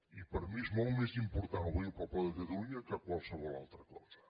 i per mi és molt més important obeir el poble de catalunya que qualsevol altra cosa